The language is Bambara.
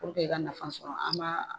Purke i ka nafa sɔrɔ an